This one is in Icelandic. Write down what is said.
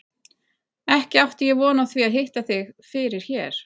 Ekki átti ég von á því að hitta þig fyrir hér!